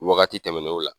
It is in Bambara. Wagati tɛmɛnenw la